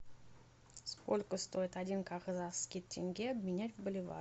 сколько стоит один казахский тенге обменять в боливар